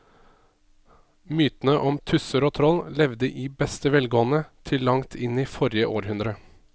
Mytene om tusser og troll levde i beste velgående til langt inn i forrige århundre.